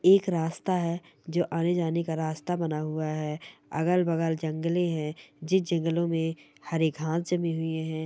एक रास्ता हैं जो आने जाने का रास्ता बना हुआ है अलग बगल जंगले है जिस जंगलों मे हरे घाँस जमे हुए--